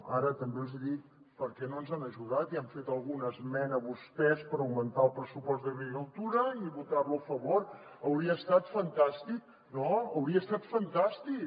ara també els hi dic per què no ens han ajudat i han fet alguna esmena vostès per augmentar el pressupost d’agricultura i votar lo a favor hauria estat fantàstic no hauria estat fantàstic